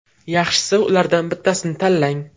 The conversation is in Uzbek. Yaxshisi, ulardan bittasini tanlang.